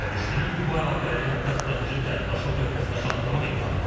Və düşünürük ki, bu əlaqələri hətta strateji tərəfdaşlıq nöqtəsinə çatdırmaq imkanı var.